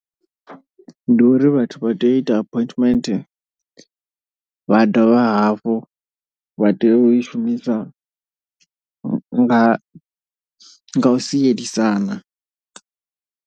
Ndi uri vhathu vha tea u ita appointment, vha dovha hafhu vha tea u i shumisa nga u sielisana.